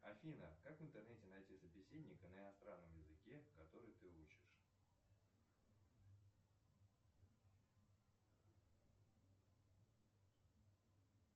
афина как в интернете найти собеседника на иностранном языке который ты учишь